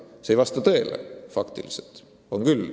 See ei vasta tõele.